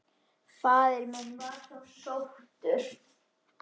Faðir minn var þá sóttur.